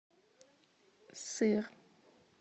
сыр